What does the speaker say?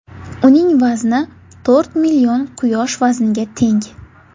Uning vazni to‘rt million Quyosh vazniga teng.